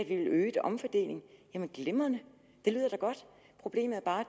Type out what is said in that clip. øget omfordeling jamen glimrende det lyder da godt problemet er bare